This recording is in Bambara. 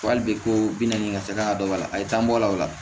Wa hali bi ko bi naani ka se kan ka dɔ bɔ a la a ye taa bɔ o la o la